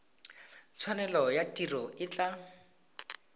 tshwanelo ya tiro e tla